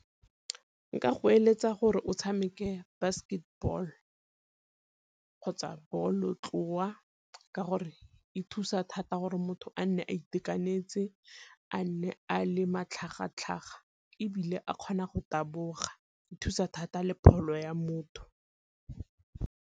Nka go eletsa gore o tshameke basketball kgotsa bolotloa ka gore e thusa thata gore motho a nne a itekanetse, a nne a le matlhagatlhaga, ebile a kgona go taboga e thusa thata le pholo ya motho.